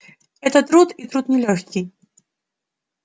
это труд и труд нелёгкий